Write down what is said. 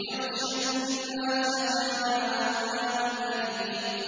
يَغْشَى النَّاسَ ۖ هَٰذَا عَذَابٌ أَلِيمٌ